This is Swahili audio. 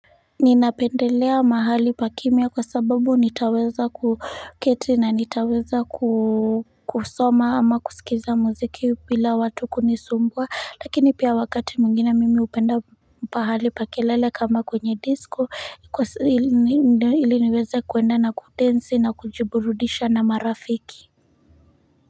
Ninapendelea mahali pa kimya kwa sababu nitaweza kuketi na nitaweza kusoma ama kusikiza muziki bila watu kunisumbua lakini pia wakati mwingine mimi hupenda pahali pa kelele kama kwenye disco ili niweze kuenda na kudensi na kujiburudisha na marafiki.